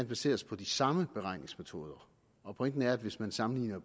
baseres på de samme beregningsmetoder og pointen er at hvis man sammenligner